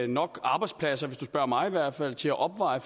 nok arbejdspladser hvis du spørger mig i hvert fald til at opveje